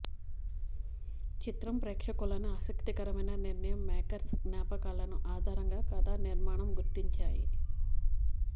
చిత్రం ప్రేక్షకులను ఆసక్తికరమైన నిర్ణయం మేకర్స్ జ్ఞాపకాలను ఆధారంగా కధా నిర్మాణం గుర్తించాయి